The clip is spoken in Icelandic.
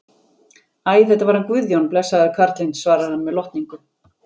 Æ, þetta var hann Guðjón, blessaður karlinn, svarar hann með lotningu.